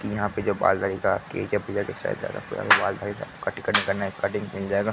की यहाँ पे जो बाल दाढ़ी का यहाँ पे बाल दाढ़ी सब कटिंग करने करने कटिंग मिल जायेगा।